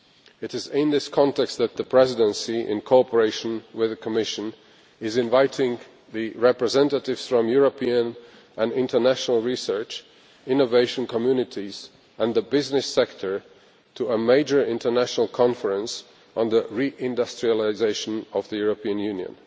It is in this context that the Presidency, in cooperation with the Commission, is inviting representatives from European and international research, innovation communities and the business sector to a major international conference on the re industrialisation of the European Union.